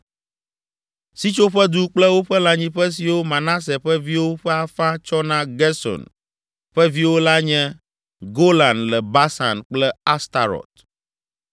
Sitsoƒedu kple woƒe lãnyiƒe siwo Manase ƒe viwo ƒe afã tsɔ na Gerson ƒe viwo la nye: Golan le Basan kple Astarot.